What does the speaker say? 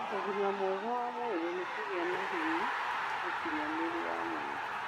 Ũgima mwega wa mwĩrĩ nĩ kũgĩa na hinya mũkinyanĩru wa mwĩrĩ.